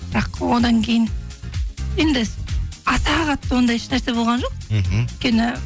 бірақ одан кейін енді аса қатты ондай еш нәрсе болған жоқ мхм өйткені